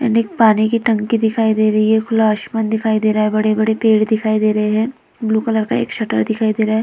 पीने के पानी की टंकी दिखाई दे रही है। खुला आसमान दिखाई दे रहा है। बड़े-बड़े पेड़ दिखाई दे रहे हैं। ब्लू कलर का एक शटर दिखाई दे रहा है।